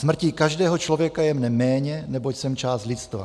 Smrtí každého člověka je mne méně, neboť jsem část lidstva.